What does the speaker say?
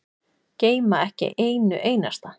Gleyma ekki einu einasta.